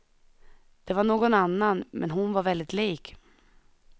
Det var någon annan, men hon var väldigt lik.